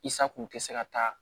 I sa kun tɛ se ka taa